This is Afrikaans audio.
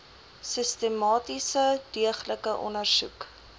sistematiese deeglike ondersoek